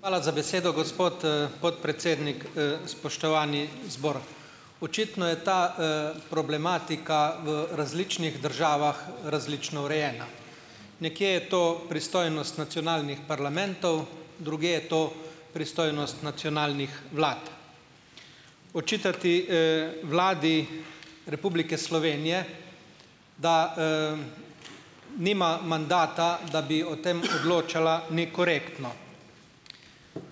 Hvala za besedo, gospod, podpredsednik. Spoštovani zbor! Očitno je ta, problematika v različnih državah različno urejena. Nekje je to pristojnost nacionalnih parlamentov, drugje je to pristojnost nacionalnih vlad. Očitati, Vladi Republike Slovenije, da, nima mandata, da bi o tem odločala, ni korektno.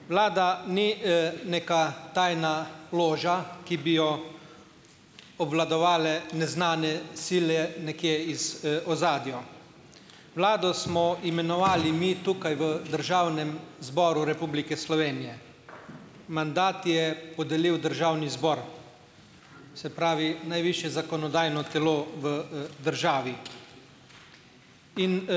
Vlada ni, neka tajna loža, ki bi jo obvladovale neznane sile nekje iz, ozadja. Vlado smo imenovali mi tukaj v Državnem zboru Republike Slovenije. Mandat je podelil državni zbor, se pravi najvišje zakonodajno telo v, državi in,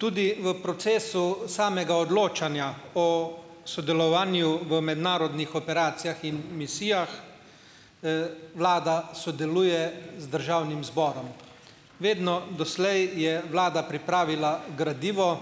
tudi v procesu samega odločanja o sodelovanju v mednarodnih operacijah in misijah, Vlada sodeluje z državnim zborom. Vedno doslej je vlada pripravila gradivo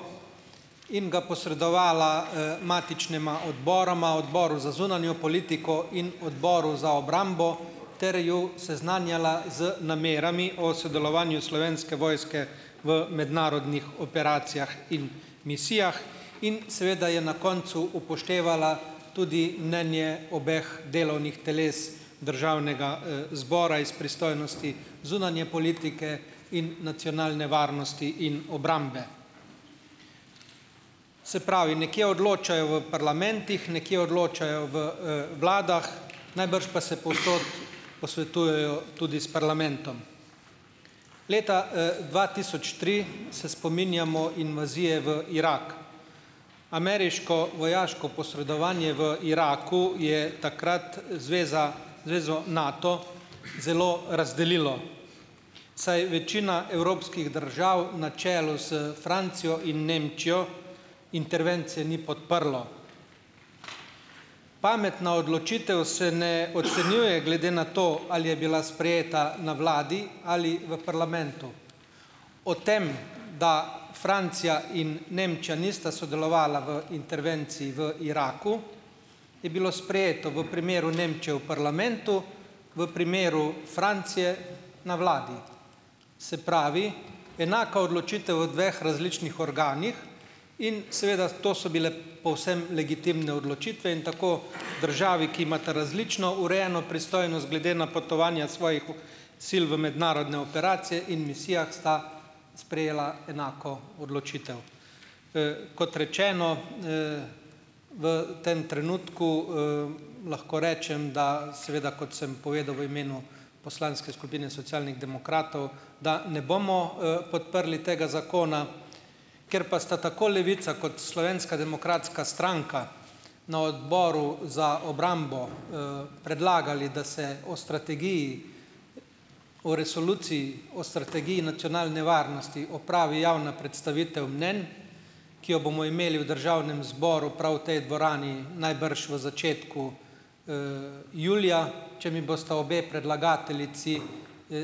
in ga posredovala, matičnima odboroma, odboru za zunanjo politiko in odboru za obrambo, ter ju seznanjala z namerami o sodelovanju Slovenske vojske v mednarodnih operacijah in misijah in seveda je na koncu upoštevala tudi mnenje obeh delovnih teles državnega, zbora iz pristojnosti zunanje politike in nacionalne varnosti in obrambe. Se pravi, nekje odločajo v parlamentih, nekje odločajo v, vladah, najbrž pa se povsod posvetujejo tudi s parlamentom. Leta, dva tisoč tri se spominjamo invazije v Irak. Ameriško vojaško posredovanje v Iraku je takrat zveza zvezo Nato zelo razdelilo, saj večina evropskih držav na čelu s Francijo in Nemčijo intervencije ni podprlo. Pametna odločitev se ne ocenjuje glede na to, ali je bila sprejeta na vladi ali v parlamentu. O tem, da Francija in Nemčija nista sodelovali v intervenciji v Iraku je bilo sprejeto v primeru Nemčije v parlamentu, v primeru Francije na vladi. Se pravi, enaka odločitev v dveh različnih organih in seveda to so bile povsem legitimne odločitve in tako državi, ki imata različno urejeno pristojnost glede napotovanja svojih sil v mednarodne operacije in misijah, sta sprejeli enako odločitev. Kot rečeno, v tem trenutku, lahko rečem, da, seveda, kot sem povedal v imenu poslanske skupine Socialnih demokratov, da ne bomo, podprli tega zakona, ker pa sta tako Levica kot Slovenska demokratska stranka na Odboru za obrambo, predlagali, da se o strategiji o Resoluciji o strategiji nacionalne varnosti opravi javna predstavitev mnenj, ki jo bomo imeli v državnem zboru, prav v tej dvorani, najbrž v začetku, julija, če mi bosta obe predlagateljici,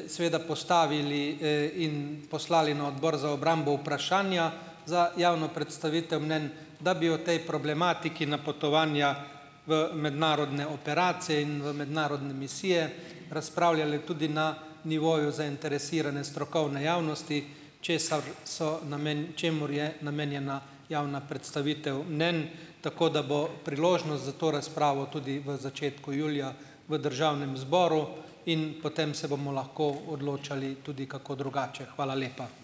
seveda postavili, in poslali na Odbor za obrambo vprašanja za javno predstavitev mnenj, da bi o tej problematiki napotovanja v mednarodne operacije in v mednarodne misije, razpravljali tudi na nivoju zainteresirane strokovne javnosti, česar so namen, čemur je namenjena javna predstavitev mnenj, tako da bo priložnost za to razpravo tudi v začetku julija, v državnem zboru in potem se bomo lahko odločali tudi kako drugače. Hvala lepa.